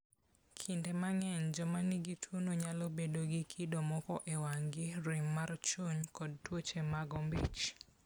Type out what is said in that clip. Kinde mang'eny, joma nigi tuwono nyalo bedo gi kido moko e wang'gi, rem mar chuny, kod tuoche mag ombich.